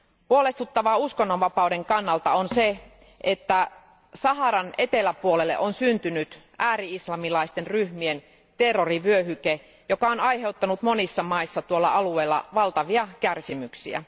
Huolestuttavaa uskonnonvapauden kannalta on se, että Saharan eteläpuolelle on syntynyt ääri islamilaisten ryhmien terrorivyöhyke, joka on aiheuttanut monissa maissa tuolla alueella valtavia kärsimyksiä.